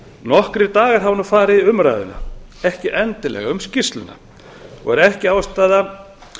nokkrir dagar hafa nú farið í umræðuna ekki endilega um skýrsluna og er ekki ástæða